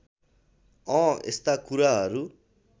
अँ यस्ता कुराहरू